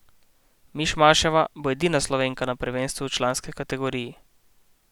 Mišmaševa bo edina Slovenka na prvenstvu v članski kategoriji.